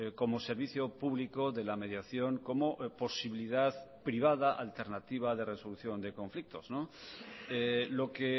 como servicio público de la mediación como posibilidad privada alternativa de resolución de conflictos lo que